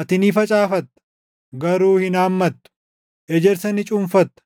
Ati ni facaafatta; garuu hin haammattu; ejersa ni cuunfatta;